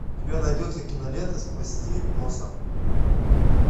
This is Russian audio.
у тебя найдется кинолента спасти босса